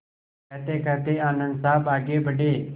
कहतेकहते आनन्द साहब आगे बढ़े